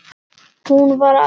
Hún var lagleg.